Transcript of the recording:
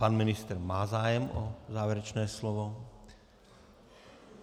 Pan ministr má zájem o závěrečné slovo.